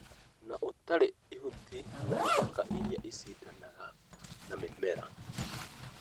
na ũtarĩ mahuti kana ithaka irĩa icindanaga na mĩmera.